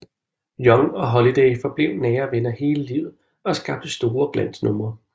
Young og Holiday forblev nære venner hele livet og skabte store glansnumre